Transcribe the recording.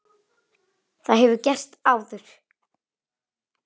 Það hefur gerst áður.